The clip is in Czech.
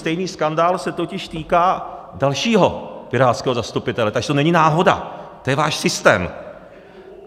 Stejný skandál se totiž týká dalšího pirátského zastupitele, takže to není náhoda, to je váš systém.